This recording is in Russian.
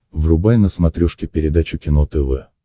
врубай на смотрешке передачу кино тв